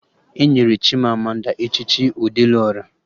Enyere Chimamanda echichi Ọdelụ Ọra